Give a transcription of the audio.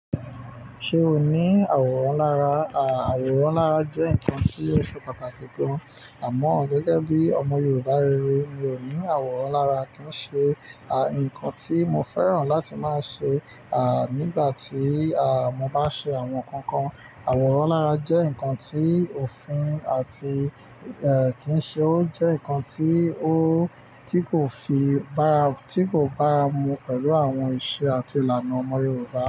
Ṣé o ní àwòrán lára? À, àwòrán lára jẹ́ nǹkan tí óò ṣe pàtàkì gan, àmọ́ gẹ́gẹ́ bí ọmọ Yorùbá rere, mi ò ní àwòrán lára. Kì í ṣe, à, ǹkan tí mo fẹ́ràn láti máa ṣe, à, nígbà tí, à, mo bá ṣe àwọn nǹkan kan. Àwòrán lára jẹ́ ǹkan tí òfin àti, ẹ́ẹ̀, kìí ṣe ó jẹ́ ǹkan tí ó, tí kò fi bára, tí kò bára mu pẹ̀lú àwọn ìṣe àti ìlànà ọmọ Yorùbá.